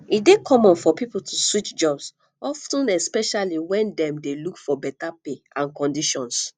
e dey common for people to switch jobs of ten especially when dem dey look for beta pay and conditions